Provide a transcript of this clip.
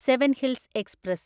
seven hills express